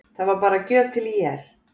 Það var bara gjöf til ÍR.